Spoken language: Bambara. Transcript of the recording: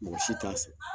Mɔgɔ si t'a san